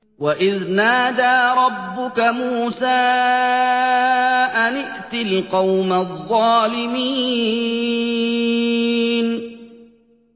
وَإِذْ نَادَىٰ رَبُّكَ مُوسَىٰ أَنِ ائْتِ الْقَوْمَ الظَّالِمِينَ